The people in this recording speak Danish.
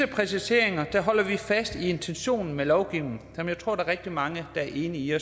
præciseringen holder vi fast i intentionerne med lovgivningen som jeg tror der er rigtig mange der er enige